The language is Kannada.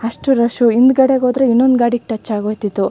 ಅಷ್ಟು ರಷು ಹಿಂದಗಡೆಗೆ ಹೋದ್ರೆ ಇನ್ನೊಂದ್ ಗಾಡಿಗೆ ಟಚ್ ಆಗಿ ಹೋಯ್ ತಿತ್ತು.